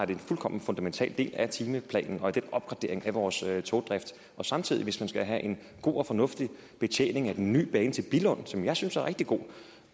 det en fuldkommen fundamental del af timeplanen og af den opgradering af vores togdrift samtidig hvis man skal have en god og fornuftig betjening af den ny bane til billund som jeg synes er rigtig god